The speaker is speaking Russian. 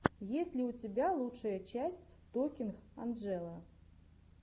есть ли у тебя лучшая часть токинг анджелы